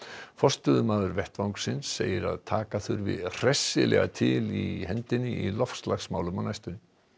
forstöðumaður vettvangsins segir að taka þurfi hressilega til hendinni í loftslagsmálum á næstunni